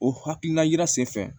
O hakilina yira senfɛ